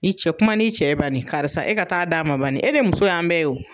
I cɛ, kuma ni cɛ ye bani karisa e ka taa d'a ma bani e de muso y'an bɛɛ ye o.